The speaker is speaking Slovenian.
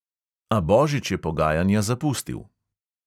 A božič je pogajanja zapustil.